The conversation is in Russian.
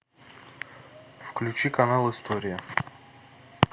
включи канал история